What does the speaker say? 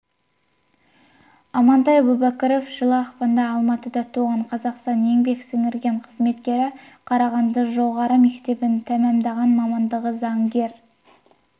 амантай әубәкіров жылы ақпанда алматыда туған қазақстан еңбек сіңірген қызметкері қарағанды жоғары мектебін тәмамдаған мамандығы заңгер